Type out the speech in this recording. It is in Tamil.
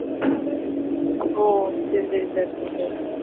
ஒ சரி சரிங்க sir